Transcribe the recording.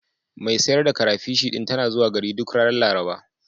Mai sayar da karafish ɗin tana zuwa gari duk ranar Laraba.